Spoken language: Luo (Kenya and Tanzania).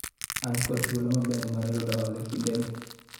an kod thuolo maber mar yudo hola e kinde ni